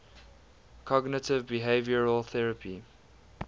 cognitive behavioral therapy